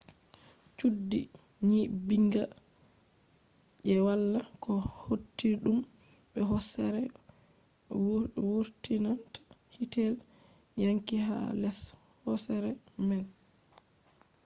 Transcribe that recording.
chuddi nyibbinga je wala ko hautidum be hosere vurtinta hitel wangi ha les hosere man